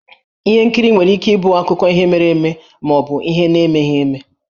Ihe nkiri nwere ike ịbụ akụkọ ihe mere eme ma ọ bụ ihe na-emeghi eme.